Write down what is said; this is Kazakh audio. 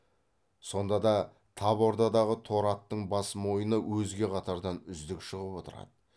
сонда да тап ордадағы торы аттың бас мойыны өзге қатардан үздік шығып отырады